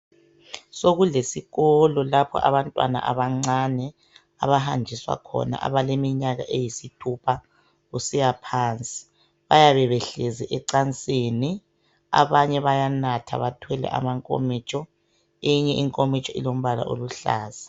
Sokulesikolo lapho abantwana abancane abahanjiswa khona abaleminyaka eyisthupha kusiyaphansi. Bayabe behlezi ecansini, abanye bayanatha bathwele amankomitsho, eyinye inkomitsho ilombala oluhlaza